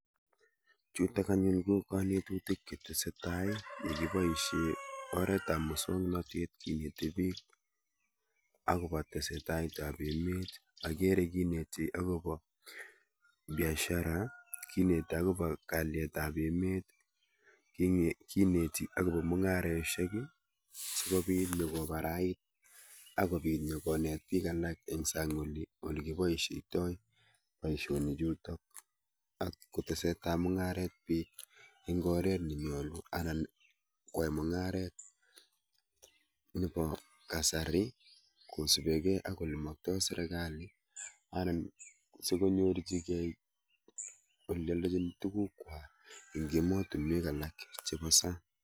Chuutok anyun kokanetutik chetesetai nekiboisie oret ap mosounatet keneti biik akoba tesetait ap emet ageere kineeti akoi biashara kineeti akobo kaalyet ab emet kineeti akobo mung'areisiek akobit onet biik alak ing' sang' oli ole kiboisitoi boisionik chuutok ak kotesetai mung'aret biik ing' oret nenyalu anan kwai mung'aret nebo kasari kosubegei ak olemaktai serkali anan sikonyorchigei tugukwai ing' emotunwek alak chebo sang'